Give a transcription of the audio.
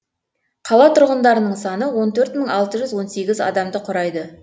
қала тұрғындарының саны он төрт мың алты жүз он сегіз адамды құрайды